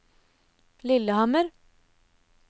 Lillehammer